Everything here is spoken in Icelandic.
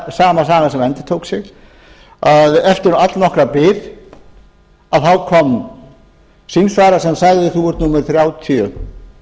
sama sagan að eftir allnokkra bið kom símsvari sem sagði þú ert númer þrjátíu